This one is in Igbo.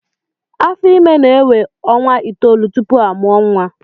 Afọ Ímé na-énwé ọnwa itoolu tupu a mụọ nwa